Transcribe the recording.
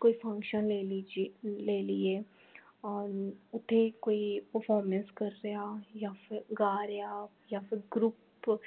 ਕੋਈ function ਲੈ ਲਿਜੀਏ ਲੈ ਲਈਏ ਅਹ ਓਥੇ ਕੋਈ performance ਕਰਦੇ ਹਾ ਯਾ ਫੇਰ ਗਾ ਰਿਹਾ ਯਾ ਫੇਰ group